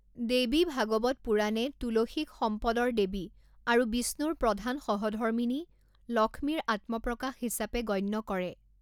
দেৱী ভাগৱত পুৰাণে তুলসীক সম্পদৰ দেৱী আৰু বিষ্ণুৰ প্ৰধান সহধৰ্মিনী, লক্ষ্মীৰ আত্মপ্ৰকাশ হিচাপে গণ্য কৰে।